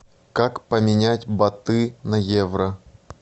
как поменять баты на евро